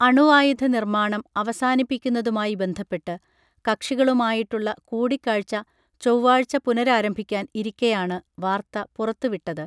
അണുവായുധ നിർമാണം അവസാനിപ്പിക്കുന്നതുമായി ബന്ധപ്പെട്ട് കക്ഷികളുമായിട്ടുള്ള കൂടിക്കാഴ്ച്ച ചൊവ്വാഴ്ച പുനരാരംഭിക്കാൻ ഇരിക്കെയാണ് വാർത്ത പുറത്തുവിട്ടത്